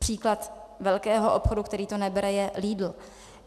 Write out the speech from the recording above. Příklad velkého obchodu, který to nebere, je Lidl.